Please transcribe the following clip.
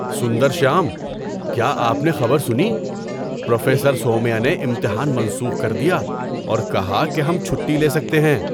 سندرشیام، کیا آپ نے خبر سنی؟ پروفیسر سومیا نے امتحان منسوخ کر دیا اور کہا کہ ہم چھٹی لے سکتے ہیں!